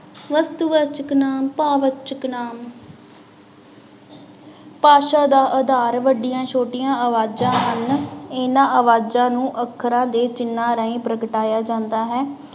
ਵਸਤੂ ਵਾਚਕ ਨਾਂਵ, ਭਾਵਵਾਚਕ ਨਾਂਵ ਭਾਸ਼ਾ ਦਾ ਆਧਾਰ ਵੱਡੀਆਂ ਛੋਟੀਆਂ ਆਵਾਜ਼ਾਂ ਹਨ, ਇਹਨਾਂ ਆਵਾਜ਼ਾਂ ਨੂੰ ਅੱਖਰਾਂ ਦੇ ਚਿੰਨ੍ਹਾਂ ਰਾਹੀਂ ਪ੍ਰਗਟਾਇਆ ਜਾਂਦਾ ਹੈ।